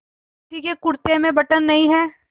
किसी के कुरते में बटन नहीं है